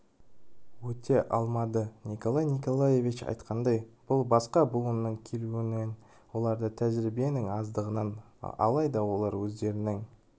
өте алмады николай николаевич айтқандай бұл басқа буынның келуінен оларда тәжриібенің аздығынан алайда олар өздернің